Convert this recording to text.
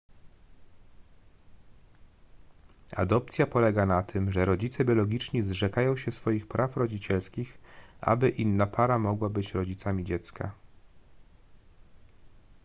adopcja polega na tym że rodzice biologiczni zrzekają się swoich praw rodzicielskich aby inna para mogła być rodzicami dziecka